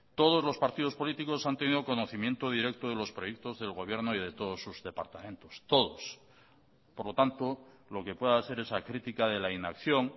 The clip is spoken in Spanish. todos los partidos políticos han tenido conocimiento directo de los proyectos del gobierno y de todos sus departamentos todos por lo tanto lo que pueda ser esa crítica de la inacción